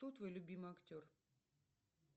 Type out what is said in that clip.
кто твой любимый актер